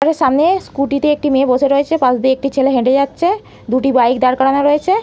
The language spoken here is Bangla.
আগে সামনে স্কুটি -তে একটি মেয়ে বসে রয়েছে পাস দিয়ে একটি ছেলে হেঁটে যাচ্ছে দুটি বাইক দাঁড় করানো রয়েছে।